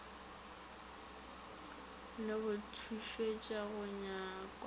le go tutuetša go nganga